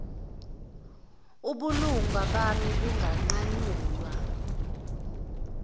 ubulunga bami bunganqanyulwa